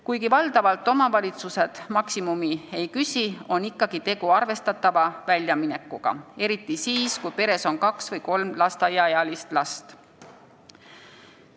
Kuigi valdavalt omavalitsused maksimumi ei küsi, on ikkagi tegu arvestatava väljaminekuga, eriti siis, kui peres on kaks või kolm lasteaiaealist last.